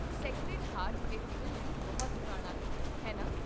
Sacred Heart Cathedral ਵੀ ਬਹੁਤ ਪੁਰਾਣਾ ਹੈ, ਹੈ ਨਾ?